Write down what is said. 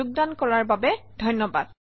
যোগদান কৰাৰ বাবে ধন্যবাদ